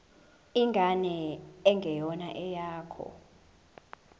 ingane engeyona eyakho